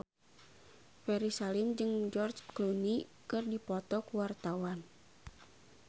Ferry Salim jeung George Clooney keur dipoto ku wartawan